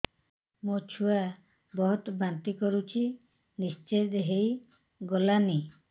ମୋ ଛୁଆ ବହୁତ୍ ବାନ୍ତି କରୁଛି ନିସ୍ତେଜ ହେଇ ଗଲାନି